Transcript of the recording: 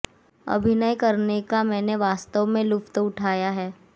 अभिनय करने का मैंने वास्तव में लुत्फ उठाया है